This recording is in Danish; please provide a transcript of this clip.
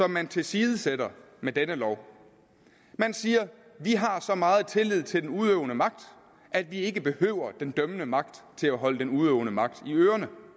man tilsidesætter med denne lov man siger vi har så meget tillid til den udøvende magt at vi ikke behøver den dømmende magt til at holde den udøvende magt i ørerne